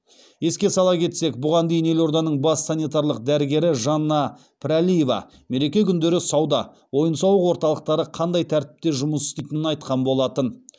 еске сала кетсек бұған дейін елорданың бас санитарлық дәрігері жанна пірәлиева мереке күндері сауда ойын сауық орталықтары қандай тәртіпте жұмыс істейтінін айтқан болатын